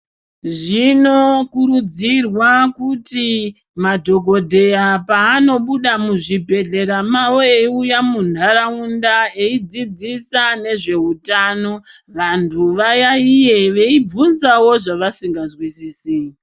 Zvinokurudzirwa kuti madhokodheya paanobuda muzvibhedhlera mavo eiuya munharaunda eidzidzisa nezveutano, vanthu vayaiye veibvunzawo zvavasingazwisisi.